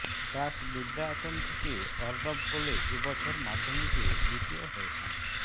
দাস বিদ্যায়তন থেকে অর্ণব কোলে এ বছর মাধ্যমিকে দ্বিতীয় হয়েছেন